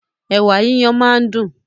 Ẹ̀wà yíyan máa ń dún.